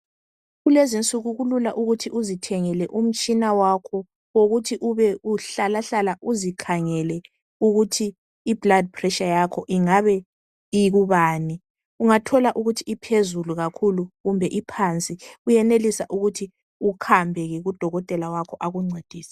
kulezi insuku kulula ukuthi uzithengele umtshina wakho wokuthi uhlala uzikhangele ukuthi i blood pressure yakho ingabe ikubani ungathola ukuthi iphezulu kakhulu kumbe iphansi uyenelisa ke ukuthi uhambe ku dokotela wakho akuncedise